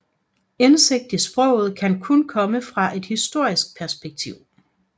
Indsigt i sproget kan kun komme fra et historisk perspektiv